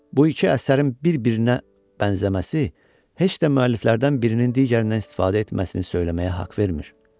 Bu iki əsərin bir-birinə bənzəməsi heç də müəlliflərdən birinin digərindən istifadə etməsini söyləməyə haqq vermir.